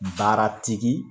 Baaratigi